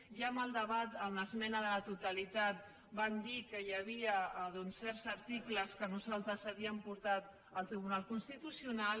i ja en el debat de l’esmena a la totalitat vam dir que hi havia certs articles que nosaltres havíem portat al tribunal constitucional